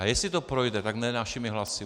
A jestli to projde, tak ne našimi hlasy.